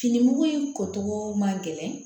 Fini mugu in kɔ togo man gɛlɛn